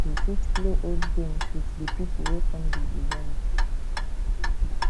we fit play old games with di people wey come di event